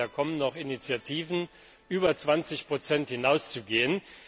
Ich hoffe, da kommen noch Initiativen, über 20 hinauszugehen.